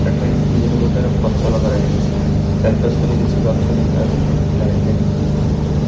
ଏଠାରେ କିଛି ବିଭିନ୍ନ ପ୍ରକାର ର ଫସଲ କରା ହେଇଚି ଚାରିପାର୍ଶ୍ଵରେ କିଛି ଗଛ ଦେଖାଯାଉଚି ତିନୋଟି ଲାଇଟ ଲାଗିଚି ଉଁ --